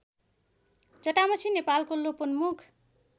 जटामसी नेपालको लोपोन्मुख